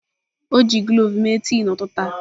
O ji cloves mee tii n'ụtụtụ a.